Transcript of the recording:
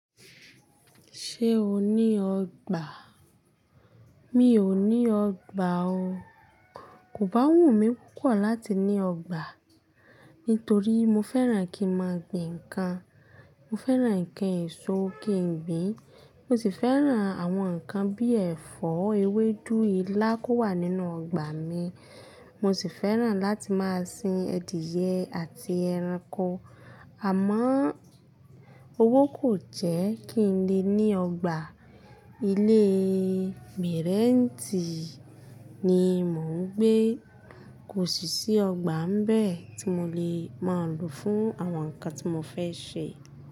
Ṣé o ní ọgbà? Mi ò ní ọgbà o. Kò bá wùn mí púpọ̀ láti ní ọgbà, nítorí mo fẹ́ràn kí ma gbìn ǹkan. Mo fẹ́ràn ǹkan èso kí n gbìn. Mo sì fẹ́ràn àwọn ǹkan bí ẹ̀fọ́ ewédú, ilá kó wà nínú ọgbà mi. Mo sì fẹ́ràn láti máa sin adìẹ àti ẹranko. Àmọ́ owó kò jẹ́ kí n lè ní ọgbà. Ilé mẹ̀rẹ̀ntì ni mò ń gbé. Kò sì sí ọgbà ń bẹ́ẹ̀ tí mo lè máa lò fún àwọn ǹkan tí mo fẹ́ ṣe.